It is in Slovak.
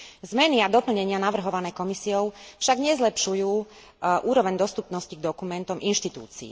Zmeny a doplnenia navrhované Komisiou však nezlepšujú úroveň dostupnosti k dokumentom inštitúcií.